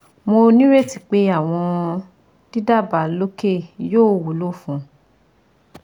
Mo nireti pe awọn didaba loke yoo wulo fun ọ